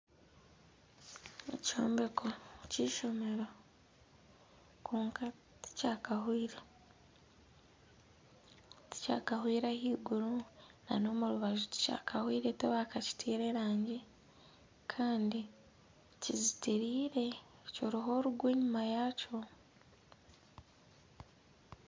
Ekyombeko k'eishomero kwonka tikyakahwire ahaiguru nana omu rubaju tibakakitire erangi Kandi kizitireire kiriho orugo enyuma yaakyo